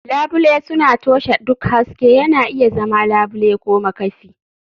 Labule suna toshe duk haske, yana iya zama labule ko makafi.